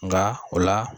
Nka o la